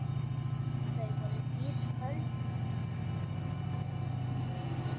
Þau voru ísköld.